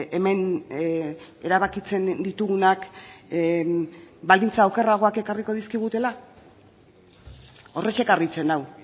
hemen erabakitzen ditugunak baldintza okerragoak ekarriko dizkigutela horrexek harritzen nau